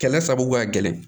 Kɛlɛ sababu ka gɛlɛn